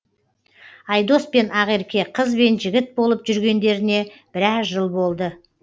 айдос пен ақерке қыз бен жігіт болып жүргендеріне біраз жыл болды